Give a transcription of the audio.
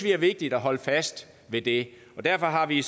er vigtigt at holde fast ved det og derfor har vi